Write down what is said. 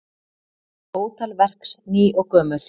Ótal verks ný og gömul.